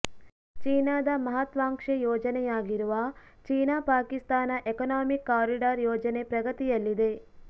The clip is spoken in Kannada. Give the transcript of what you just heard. ಚೀನಾದ ಮಹತ್ವಾಂಕ್ಷೆ ಯೋಜನೆಯಾಗಿರುವ ಚೀನಾ ಪಾಕಿಸ್ತಾನ ಎಕನಾಮಿಕ್ ಕಾರಿಡಾರ್ ಯೋಜನೆ ಪ್ರಗತಿಯಲ್ಲಿದೆ